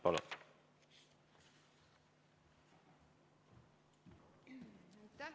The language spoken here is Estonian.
Palun!